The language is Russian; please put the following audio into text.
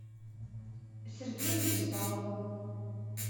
сергею беспалову